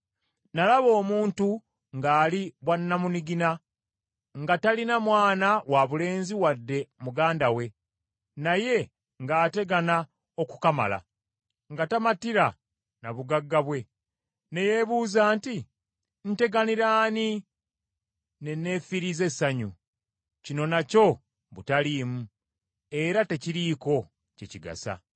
nalaba omuntu ng’ali bwannamunigina, nga talina mwana wabulenzi wadde muganda we, naye ng’ategana okukamala, nga tamatira na bugagga bwe, ne yeebuuza nti, “Nteganira ani ne neefiiriza essanyu? Kino nakyo butaliimu, era tekiriiko kye kigasa.”